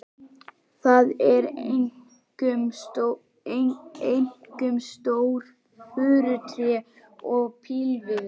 Það eru einkum stór furutré og pílviður.